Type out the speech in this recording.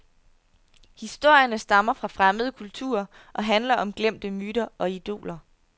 Historierne stammer fra fremmede kulturer og handler om glemte myter og idoler.